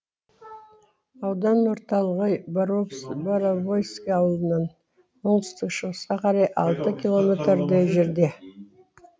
аудан орталығы боровойский ауылынан оңтүстік шығысқа қарай алты километрдей жерде